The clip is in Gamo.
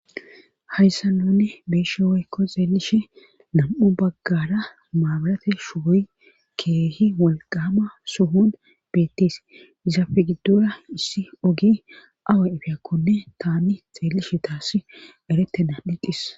hayssa nunne be'ishe woykko xeelishe nam7u baggara maabalate shugoy keehi walqama suhun beettis izafe giddura issi oge awa ifiyakkonne taani xeellishe taassi eretena dhiqqis